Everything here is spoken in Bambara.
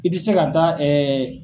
I tɛ se ka taa